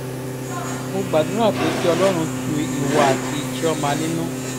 mo gbàdúrà pé kí ọlọ́run tu ìwọ àti chioma nínú